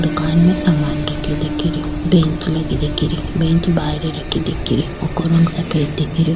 दुकान में सामान रखयो दिखे रा बेंच लगी दिखे री बेंच बाहेरे रखी दिखे री वोको रंग सफेद दिखे रो।